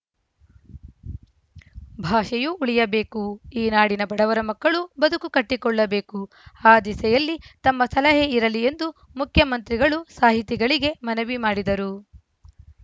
ಭಾಷೆಯೂ ಉಳಿಯಬೇಕು ಈ ನಾಡಿನ ಬಡವರ ಮಕ್ಕಳೂ ಬದುಕು ಕಟ್ಟಿಕೊಳ್ಳಬೇಕು ಆ ದಿಸೆಯಲ್ಲಿ ತಮ್ಮ ಸಲಹೆ ಇರಲಿ ಎಂದು ಮುಖ್ಯಮಂತ್ರಿಗಳು ಸಾಹಿತಿಗಳಿಗೆ ಮನವಿ ಮಾಡಿದರು